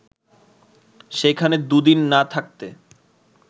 সেখানে দুদিন না থাকতে